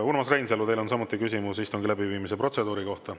Urmas Reinsalu, teil on samuti küsimus istungi läbiviimise protseduuri kohta.